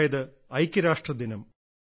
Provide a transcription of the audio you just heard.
അതായത് ഐക്യരാഷ്ട്ര ദിനം